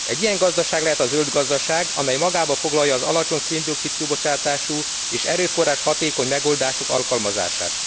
Egy ilyen gazdaság lehet a zöld gazdaság, amely magában foglalja az alacsony szén dioxid kibocsátású és erőforráshatékony megoldások alkalmazását.